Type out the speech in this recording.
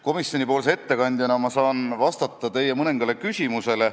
Komisjoni ettekandjana ma saan vastata teie mõningatele küsimustele.